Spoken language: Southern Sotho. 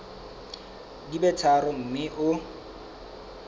di be tharo mme o